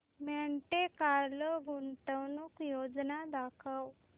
Monte Carlo गुंतवणूक योजना दाखव